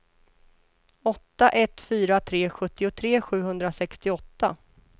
åtta ett fyra tre sjuttiotre sjuhundrasextioåtta